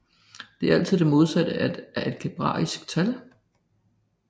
Det er altså det modsatte af et algebraisk tal